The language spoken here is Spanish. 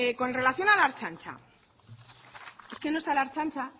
con relación a la ertzaintza es que no está la ertzaintza